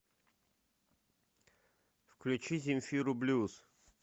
включи земфиру блюз